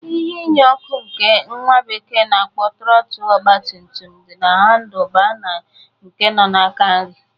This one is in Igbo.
Ihe inye ọkụ nke nwa bekee na-akpọ Trọtl ogbatumtum dị na handl baa nke nọ n'aka nrị.